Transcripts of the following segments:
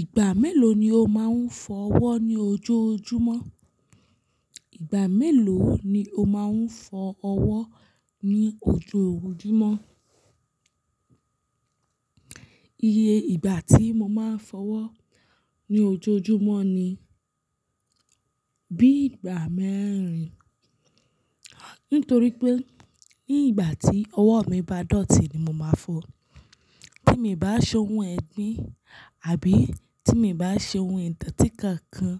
Ìgbà mélòó ni o máa ń fọ ọwọ́ ní ojoojúmọ́? Ìgbà mélòó ni o máa ń fọ ọwọ́ ní ojoojúmọ́? Iye ìgbà tí mo máa ń fọ ọwọ́ ní ojoojúmọ́ ni bí i ìgbà mẹ́rin. Nítorí pé ní ìgbà tí ọwọ́ mi bá dọ̀tí ni mo máa ń fọ. Tí mii bá ṣe ohun ẹgbín àbí tí mii bá ṣe ohun ìtọ́tí kankan,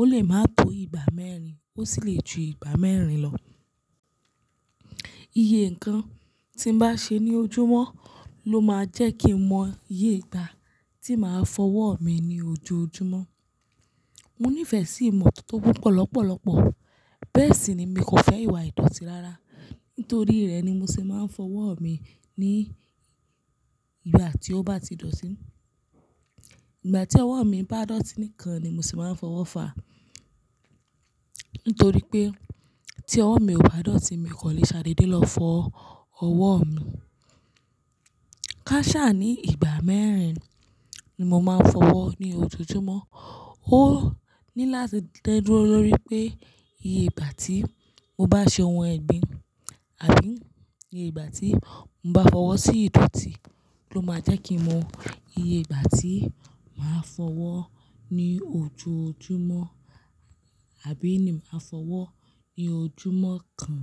ó lè máa tó ìgbà mẹ́rin, ó sì lè ju ìgbà mẹ́rin lọ. Iye nǹkan tí n bá ṣe ní ojúmọ́ ló máa jẹ́ kí mo mọ iye ìgbà tí màá fọ ọwọ́ mi ní ojoojúmọ́. Mo nífẹ̀ sí ìmọ́tótó púpọ̀ lọlọpọlọpọ, bẹ́ẹ̀ sì ni mii kò fẹ́ ìwà ìdọ̀tí rárá. Nítorí rẹ̀ ni mo sì máa ń fọ ọwọ́ mi ní ìgbà tí ó bá ti dọ̀tí. Ìgbà tí ọwọ́ mi bá dọ̀tí nìkan ni mo sì máa ń fọwọ́ fàá. Nítorí pé tí ọwọ́ mi ò bá dọ̀tí, mii kan lè ṣadéde lọ fọ ọwọ́ mi. Ká sá ni ìgbà mẹ́rin ni mo máa ń fọ ọwọ́ ní ojoojúmọ́. Ó ní láti da dúró lórí pé iye ìgbà tí mo bá ṣe ohun ẹgbín àbí iye ìgbà tí mo bá fọwọ́ sí ìdọ̀tí ló máa jẹ́ kí n mọ iye ìgbà tí màá fọ ọwọ́ ní ojoojúmọ́ àbí ni màá fọ ọwọ́ ní ojúmọ́ kan.